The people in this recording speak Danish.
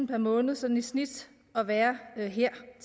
per måned sådan i snit at være her